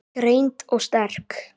Greind og sterk.